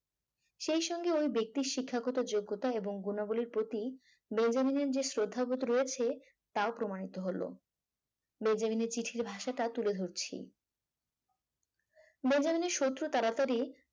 সেই সঙ্গে ওই ব্যক্তির শিক্ষাগত যোগ্যতা এবং গুণাবলীর প্রতি বেঞ্জামিন এর যে শ্রদ্ধাবোধ রয়েছে তাও প্রমাণিত হলো বেঞ্জামিন এর চিঠির ভাষাটা তুলে ধরছি বেঞ্জামিনের শত্রু তাড়াতাড়ি